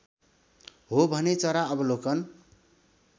हो भने चरा अवलोकन